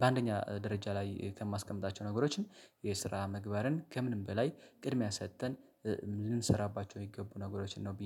በአንደኛ ደረጃ ላይ ከማስቀምጣቸው ነገሮችን የስራ ምግባርን ከምንም በላይ ቅድሚያ ሰጥተን ልንሰራባቸው የሚገቡ ነገሮችን ነው።